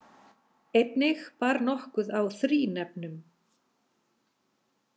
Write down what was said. Einnig bar nokkuð á þrínefnum.